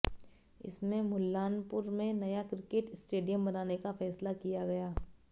इसमें मुल्लानपुर में नया क्रिकेट स्टेडियम बनाने का फैसला किया गया